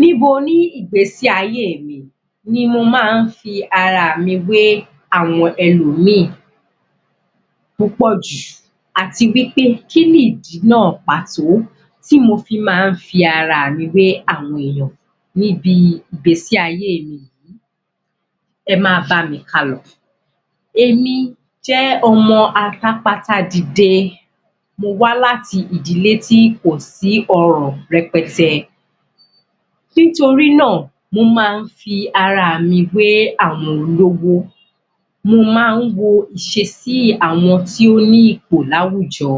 Níbo ní ìgbésí ayé mi ni mo máa ń fi ara mi wé àwọn ẹlọ̀míì púpọ̀ jù àti wí pé kí ni ìdí náà pàtó tí mo fi máa ń fi ara mi wé àwọn èèyàn ní bi ìgbésí-ayé mi? Ẹ máa bá mi kálọ, èmi jẹ́ ọmọ atàpata dìde, mo wá láti ìdílé tí kò sí ọrọ̀ rẹpẹtẹ. Nítorí náà mo máa ń fi ara mi wé àwọn olówó mo máa ń wo ìṣesí àwọn tí ó ní ipò láwùjọ,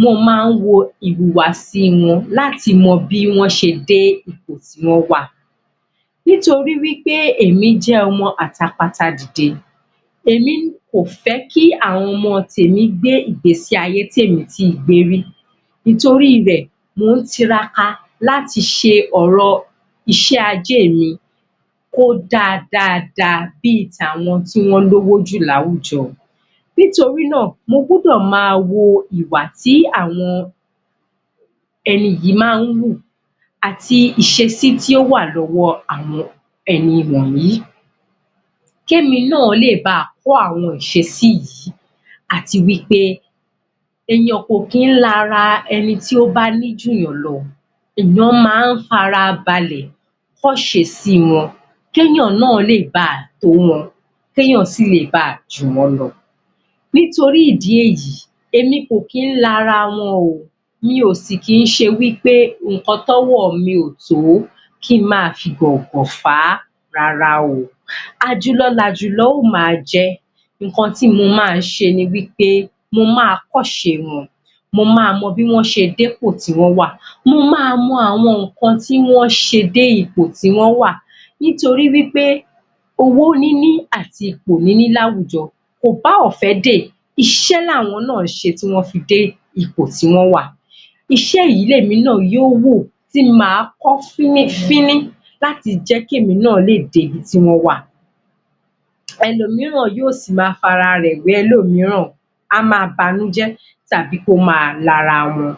mo máa ń wo ìhùwàsí wọn láti mọ bí wọ́n ṣe dé ipò tí wọ́n wà, nítorí èmi jẹ́ ọmọ atàpata dìde èmi kò fẹ́ kí àwọn ọmọ tèmi gbé ìgbésí-ayé tí èmi ti gbé rí nítorí rẹ̀ mò ń tiraka láti ṣe ọ̀rọ̀ iṣẹ́-ajé mi kó dáa dáa dáa bi tà wọn tí wọ́n lówó jù láwùjọ, nítorí náà mo gbọ́dọ̀ máa wo ìwà tí àwọn ẹni yìí máa ń wù àti ìṣesí tí ó wà lọ́wọ́ àwon ẹni wọ̀nyí kí èmi náà ba lè kọ́ àwọn ìṣesí yìí àti wí pé èèyàn kò ní lara ẹni tí ó bá ní jù yàn lọ èèyàn máa ń farabalẹ̀ kọ́ ìsesí wọn kéyàn náà lè ba tó wọn kẹ́yàn sì ba lè jù wọ́n lọ. Nítorí ìdí èyí, èmi kò kí ń lara wọn o mi o sì kí ń ṣe wí pé ǹnkan tí ọwọ́ mi ò tó kí ń máa fi gàngàn fà á rárá o, àjùlọ l'àjùlọ ó máa jẹ́. Ǹnkan tí mo máa ṣe ni wí pé mo máa kọ́ ìṣe wọn, mo máa mọ bí wọ́n ṣe dé ipò tí wọ́n wà Mo máa mọ àwọn ǹnkan tí wọ́n ṣe dé ipò tí wọ́n wà nítorí wí pé owó níní àti ipò níní ní àwùjọ kò bá ọ̀fẹ́ dé iṣẹ́ làwọn náà ṣe tí wọ́n fi dé ipò tí wọ́n wà. Iṣẹ́ yìí ni èmi náà yóò wò tí máa kọ́ fínífíní láti jẹ́ kí èmi náà dé ibi tí wọ́n wà. ẹlòmíràn yóò si máa fi ara rẹ̀ wé ẹlòmíràn á máa banújẹ́ tàbí kó máa nílara wọn.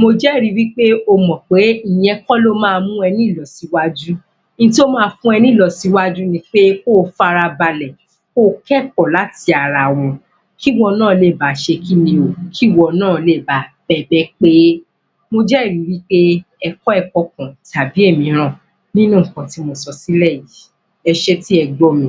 mo jẹ́rì wí pé o mọ̀ pé ìyẹn kọ́ ló máa mú ẹ ní ìlọsíwájú ohun tó máa fún ẹ ní ìlọsíwájú ni pé ko farabalẹ̀ ko kọ́ ẹ̀kọ́ láti ara wọn kí wọ́n náà lè ba ṣe kíni? kí wọn náà lè ba bẹ́gbẹ́ pé mo jẹ́ẹ̀rí wí pé ẹ kọ́ ẹ̀kọ̀ kan tàbi ìmíràn nínú ǹnkan tí mo sọ sílẹ̀ yìí? Ẹ ṣé tí ẹ gbọ́ mi.